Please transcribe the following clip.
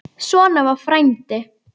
Svona var frændi.